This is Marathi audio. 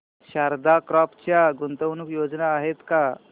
शारदा क्रॉप च्या गुंतवणूक योजना आहेत का